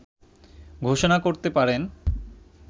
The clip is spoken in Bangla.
ঘোষণা করতে পারেন